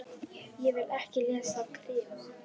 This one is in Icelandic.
Ég vil ekki lesa krimma.